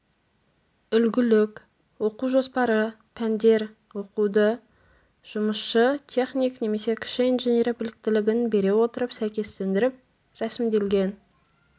үлгілік оқу жоспары пәндер оқуды жұмысшы техник немесе кіші инженер біліктілігін бере отырып сәйкестендіріп рәсімделген